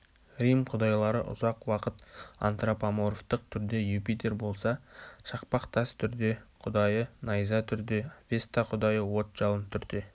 рим құдайлары ұзақ уақыт антропоморфтық түрде юпитер болса шақпақ тас түрде құдайы найза түрде веста құдайы от-жалын түрде